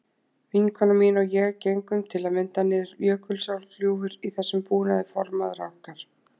Vinkona mín og ég gengum til að mynda niður Jökulsárgljúfur í þessum búnaði formæðra okkar.